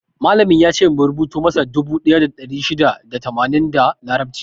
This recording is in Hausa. Malamin yace mu rubutu masa dubu ɗaya da ɗari shida da tamanin da larabci.